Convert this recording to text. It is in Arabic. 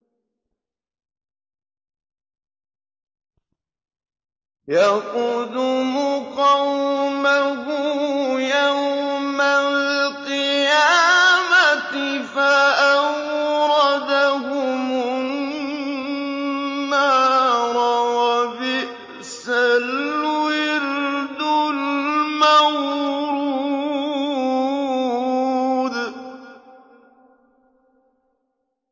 يَقْدُمُ قَوْمَهُ يَوْمَ الْقِيَامَةِ فَأَوْرَدَهُمُ النَّارَ ۖ وَبِئْسَ الْوِرْدُ الْمَوْرُودُ